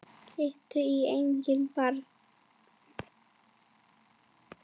Líttu í eigin barm